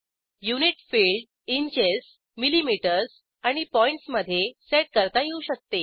unit field inches millimetre आणि points मधे set करता येऊ शकते